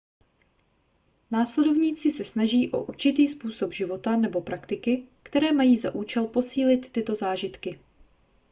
následovníci se snaží o určitý způsob života nebo praktiky které mají za účel posílit tyto zážitky